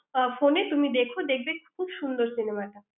ফোনে তুমি দেখো দেখবে খুব সুন্দর cinema টা